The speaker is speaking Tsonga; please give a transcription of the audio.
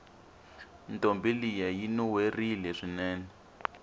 ntombi liya yinuwerile swinene